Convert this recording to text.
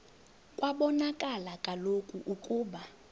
kwabonakala kaloku ukuba